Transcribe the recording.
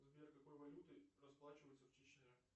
сбер какой валютой расплачиваются в чечне